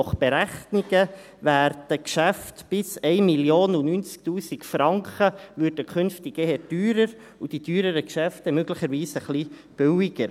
Nach Berechnungen werden Geschäfte bis 1 090 000 Franken eher teurer, und die teureren Geschäfte möglicherweise eher billiger.